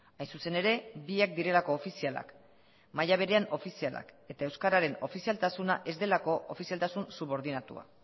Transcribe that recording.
hain zuzen ere biak direlako ofizialak maila berean ofizialak eta euskararen ofizialtasuna ez delako ofizialtasun subordinatua